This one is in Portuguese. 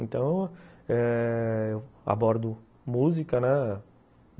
Então eh... eu abordo música, né?